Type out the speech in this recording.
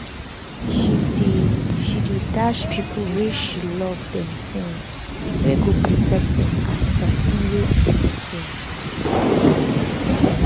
she dey she dey dash people wey she love dem tins wey go protect dem as person wey um care.